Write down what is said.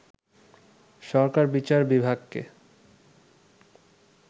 সরকার বিচার বিভাগকে